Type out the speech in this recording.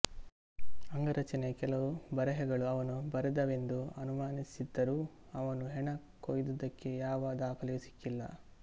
ಅಂಗರಚನೆಯ ಕೆಲವು ಬರೆಹಗಳು ಅವನು ಬರೆದವೆಂದು ಅನುಮಾನಿಸಿದ್ದರೂ ಅವನು ಹೆಣ ಕೊಯ್ದುದಕ್ಕೆ ಯಾವ ದಾಖಲೆಯೂ ಸಿಕ್ಕಿಲ್ಲ